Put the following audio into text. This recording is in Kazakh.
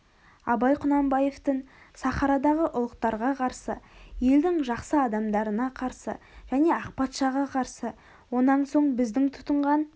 абай құнанбаевтын сахарадағы ұлыктарға қарсы елдің жақсы адамдарына қарсы және ақпатшаға қарсы онан соң біздің тұтынған